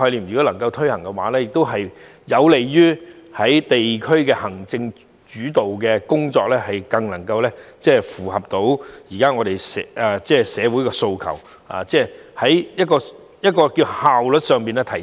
如果能夠落實這個概念，亦能讓地區行政主導的工作更符合現時社會的訴求，即在效率上有所提升。